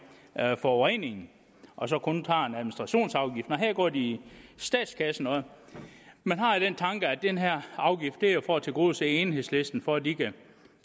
forureningen og så kun tager en administrationsafgift nej her går de i statskassen og man har jo den tanke at den her afgift er for at tilgodese enhedslisten for at de kan